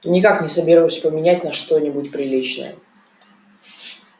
никак не соберусь поменять на что-нибудь приличное